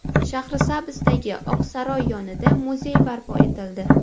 Shahrisabzdagi Oqsaroy yonida muzey barpo etildi.